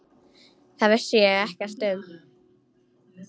Það vissi ég ekkert um.